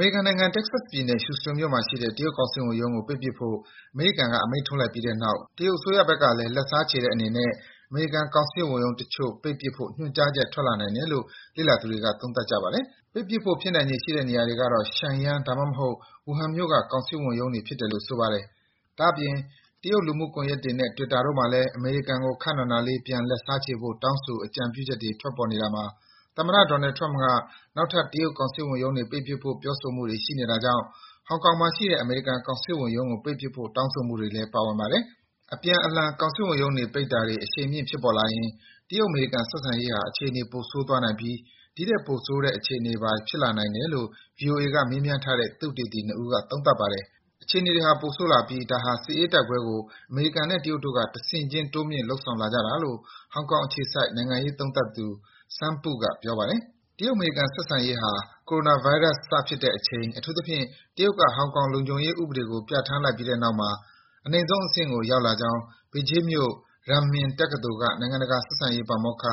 ေရိကန်နိုင်ငံ၊ Texas ပြည်နယ်၊ Houston မြို့မှာရှိတဲ့ တရုတ်ကောင်စစ်ဝန်ရုံးကို ပိတ်ပစ်ဖို့ အမေရိကန်က အမိန့်ထုတ်လိုက်ပြီးတဲ့နောက် တရုတ်တို့ဘက်ကလည်း လက်စားချေတဲ့အနေနဲ့ အမေရိကန်ကောင်စစ်ဝန်ရုံးတချို့ ပိတ်ပစ်ဖို့ ညွန်ကြားချက် ထွက်လာနိုင်တယ်လို့ လေ့လာသူတွေက သုံးသပ်ကြပါတယ်။ ပိတ်ဖို့ ဖြစ်နိုင်ခြေရှိတဲ့နေရာတွေကတော့ Shengyang ဒါမှမဟုတ် Wuhan မြို့က ကောင်စစ်ဝန်ရုံးတွေ ဖြစ်နိုင်တယ်လို့ ဆိုပါတယ်။ ဒါ့အပြင် တရုတ်လူမှုကွန်ယက်တွေနဲ့ Twitter တို့မှာလည်း အမေရိကန်ကို ခပ်နာနာလေး ပြန်လက်စားချေဖို့ တောင်းဆို အကြံပြုမှုတွေ ထွက်ပေါ်နေတာမှာ သမ္မတ Donald Trump က နောက်ထပ် တရုတ်ကောင်စစ်ဝန်ရုံးတွေ ပိတ်ပစ်ဖို့ ပြောဆိုမှုတွေ ရှိနေတာကြောင့် ဟောင်ကောင်မှာရှိတဲ့ အမေရိကန်ကောင်စစ်ဝန်ရုံးကို ပိတ်ပစ်ဖို့ တောင်းဆိုမှုတွေလည်း ပါဝင်ပါတယ်။ အပြန်အလှန် ကောင်စစ်ဝန်ရုံးပိတ်တာတွေ အရှိန်မြင့် ဖြစ်ပေါ်လာရင် တရုတ်-အမေရိကန် ဆက်ဆံရေးဟာ အခြေအနေ ပိုဆိုးသွားနိုင်ပြီး ဒီထက်ပိုဆိုးတဲ့ အခြေအနေတွေပါ ဖြစ်လာနိုင်တယ်လို့ ဗွီအိုအေက မေးမြန်းထားတဲ့ သုတေသီ ၂ ဦးက သုံးသပ်ပါတယ်။ အခြေအနေတွေဟာ ပိုဆိုးလာပြီး ဒါဟာ စစ်အေးတိုက်ပွဲကို အမေရိကန်နဲ့ တရုတ်တို့က တဆင့်ခြင်း တိုးမြင့် လုပ်ဆောင်လာကြတာလို့ ဟောင်ကောင်အခြေစိုက် နိုင်ငံရေးသုံးသပ်သူ Sang Pu က ပြောပါတယ်။ တရုတ်-အမေရိကန် ဆက်ဆံရေးဟာ ကိုရိုနာဗိုင်းရပ်စ် စဖြစ်တဲ့အချိန်၊ အထူးသဖြင့် တရုတ်က ဟောင်ကောင်လုံခြုံရေး ဥပဒေကို ပြဌာန်းလိုက်ပြီးတဲ့နောက်မှာ အနိမ့်ဆုံးအဆင့်ကို ရောက်လာကြောင်း ဘေဂျင်းမြို့ Renmin တက္ကသိုလ်က နိုင်ငံတကာဆက်ဆံရေး ပါမောက္ခ